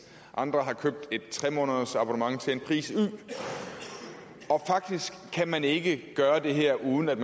andre har købt et tre månedersabonnement til en pris y og faktisk kan man ikke gøre det her uden at